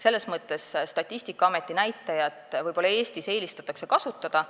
Selles mõttes eelistatakse Eestis võib-olla Statistikaameti näitajat kasutada.